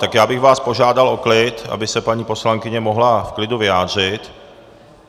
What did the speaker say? Tak já bych vás požádal o klid, aby se paní poslankyně mohla v klidu vyjádřit.